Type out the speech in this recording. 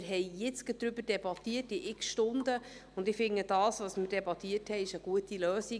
Wir haben jetzt gerade darüber debattiert, während x Stunden, und ich finde, das, was wir debattiert haben, ist eine gute Lösung.